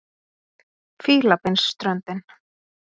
Fílabeinsströndin